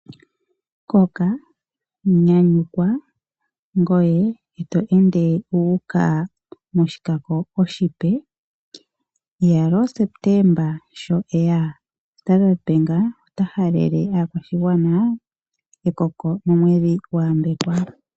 Koka, nyanyukwa ngoye oto ende wuuka moshikako oshipe. Iyaloo Septemba sho eya Standard Bank ota halele aakwashigwana ekoko nomwedhi gwa yambekwa.